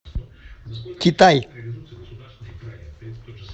китай